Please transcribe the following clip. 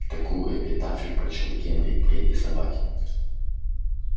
такую эпитафию прочёл генри третьей собаке